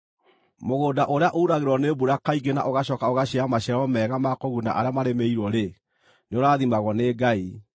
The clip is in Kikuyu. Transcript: Mũgũnda ũrĩa uragĩrwo nĩ mbura kaingĩ na ũgacooka ũgaciara maciaro mega ma kũguna arĩa marĩmĩirwo-rĩ, nĩũrathimagwo nĩ Ngai.